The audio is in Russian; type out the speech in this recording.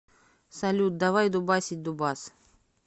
салют давай дубасить дубас